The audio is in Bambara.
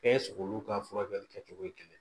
Bɛɛ sogow ka furakɛli kɛ cogo ye kelen